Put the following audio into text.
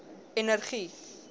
energie